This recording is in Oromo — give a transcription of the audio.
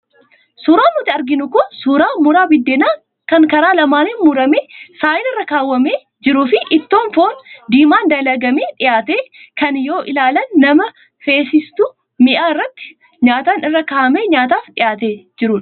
Suuraan nutti argamu kun, suuraa muraa biddeenaa kan karaa lamaaniin muramee saayinaa irra keewwamee jiruu fi ittoo foon diimaan dalagamee dhiyaate, kan yoo ilaalan nama feesisutu mi'a irratti nyaatan irra kaa'amee nyaataaf dhiyaatee jira.